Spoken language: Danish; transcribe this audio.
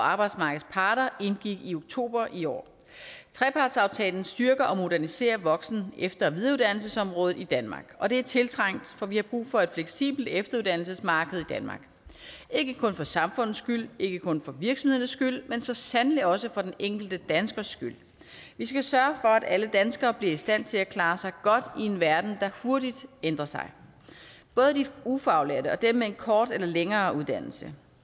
og arbejdsmarkedets parter indgik i oktober i år trepartsaftalen styrker og moderniserer voksen efter og videreuddannelsesområdet i danmark og det er tiltrængt for vi har brug for et fleksibelt efteruddannelsesmarked i danmark ikke kun for samfundets skyld ikke kun for virksomhedernes skyld men så sandelig også for den enkelte danskers skyld vi skal sørge for at alle danskere bliver i stand til at klare sig godt i en verden der hurtigt ændrer sig både de ufaglærte og dem med en kort eller længere uddannelse